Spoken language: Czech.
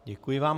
Děkuji vám.